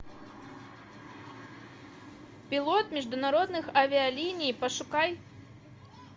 пилот международных авиалиний пошукай